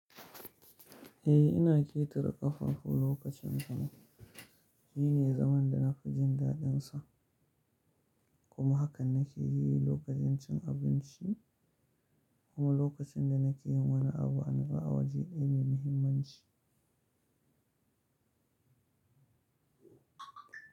Eh ina ƙetare ƙafafu lokacin sama. Shine zaman da na fi jin daɗinsa kuma hakan na ke yi lokacin cin abinci kuma lokacin da na ke yin wani abu ba waje daya mai muhimmanci.